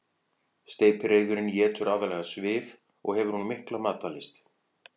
Steypireyðurin étur aðallega svif og hefur hún mikla matarlyst.